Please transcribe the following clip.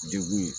Degun ye